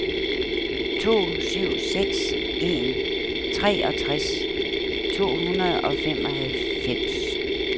to syv seks en treogtres to hundrede og femoghalvfems